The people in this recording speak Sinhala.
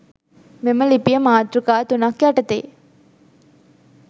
මෙම ලිපිය මාතෘකා තුනක් යටතේ